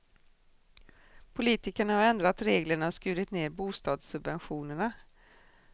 Politikerna har ändrat reglerna och skurit ned bostadssubventionerna.